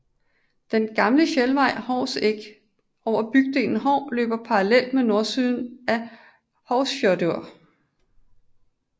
Den gamle fjeldvej Hovsegg over bygden Hov løber parallelt med nordsiden af Hovsfjørður